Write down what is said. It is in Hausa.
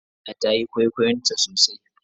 Aisha tayi kwaikwayon tasosai.